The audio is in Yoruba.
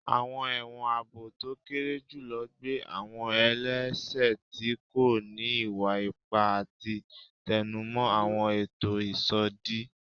Awọn ẹwọn aabo to kere julọ gbe awọn ẹlẹṣẹ ti ko ni iwa-ipa ati tẹnumọ awọn eto isodi